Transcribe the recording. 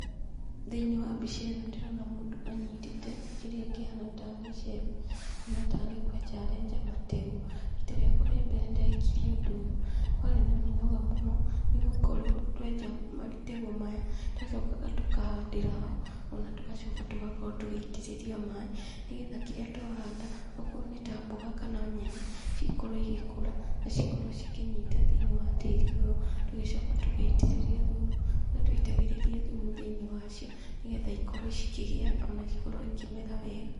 Thĩiniĩ wa mbica ĩno ndĩrona mũndũ anyitĩte kĩrĩa kĩhana tarĩ icembe, kana tarĩ kwenja arenja mategũ. Rita riakea rĩa mbere ndekire ũndũ ũyũ, warĩ na mĩnoga mũno, nĩ gukorwo twenja mategũ maya, twacokaga tũkahandĩra ho, ona tũgacoka tũgakorwo tũgĩitĩrĩrĩa maaĩ, nĩgetha kĩrĩa twahanda, akorwo nĩ ta mboga kana nyeni, cikorwo igĩkũra, na cikorwo cikĩnyita thĩiniĩ wa tĩri ũyũ. Tũgĩcoka tũgĩitĩrĩria thumu, kũrĩa twaitagĩrĩria thumu thĩiniĩ wacio, nĩgetha ikorwo cikĩgĩa, ona cikorwo ikĩmera wega.